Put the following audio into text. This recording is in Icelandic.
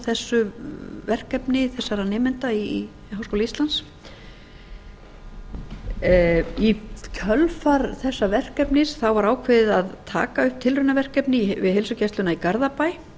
þessu verkefni þessara nemenda í háskóla íslands í kjölfar þessa verkefnis var ákveðið að taka upp tilraunaverkefni við heilsugæsluna í garðabæ